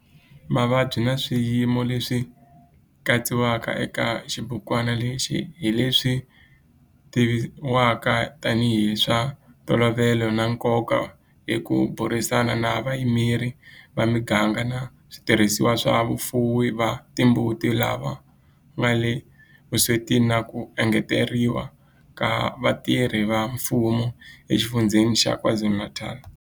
Mavabyi na swiyimo leswi katsiwaka eka xibukwana lexi hi leswi tivivwaka tanihi hi swa ntolovelo na nkoka hi ku burisana na vayimeri va miganga na switirhisiwa swa vafuwi va timbuti lava nga le vuswetini na ku engeteriwa ka vatirhi va mfumo eXifundzheni xa KwaZulu-Natal.